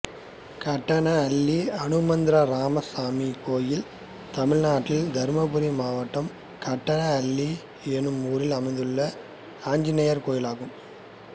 காட்டனஅள்ளி அனுமந்தராயசாமி கோயில் தமிழ்நாட்டில் தர்மபுரி மாவட்டம் காட்டனஅள்ளி என்னும் ஊரில் அமைந்துள்ள ஆஞ்சநேயர் கோயிலாகும்